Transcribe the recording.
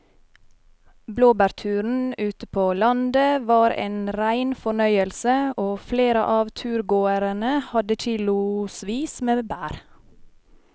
Blåbærturen ute på landet var en rein fornøyelse og flere av turgåerene hadde kilosvis med bær.